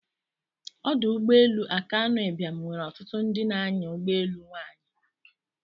Ọdụ ụgbọ elu Akanu Ibiam nwere ọtụtụ ndị na-anya ụgbọelu nwanyi.